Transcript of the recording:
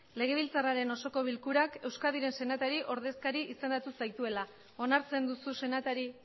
legebiltzarraren osoko bilkurak euskadiren senatari ordezkari izendatu zaituela onartzen duzu senatari